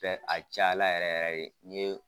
Fɛ a cayala yɛrɛ yɛrɛ de n'i ye